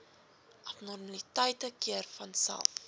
abnormaliteite keer vanself